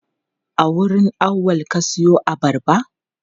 A wurin Auwal ka siyo abarba?